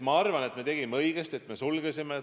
Ma arvan, et me tegime õigesti, et me koolid sulgesime.